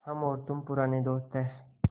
हम और तुम पुराने दोस्त हैं